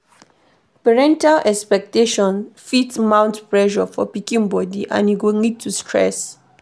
parental expectation fit mount pressure for pikin body and e go lead to stress